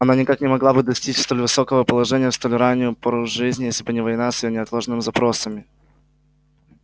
она никак не могла бы достичь столь высокого положения в столь раннюю пору жизни если бы не война с её неотложными запросами